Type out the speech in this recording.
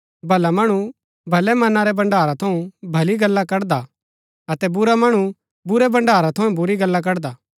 भला मणु भलै मना रै भण्ड़ारा थऊँ भली गल्ला कड़दा हा अतै बुरा मणु बुरै भण्ड़ारा थऊँ बुरी गल्ला कड़दा हा